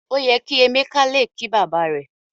O yẹ kí Emeka le ki baba rẹ.